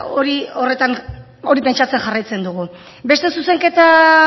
hori pentsatzen jarraitzen dugu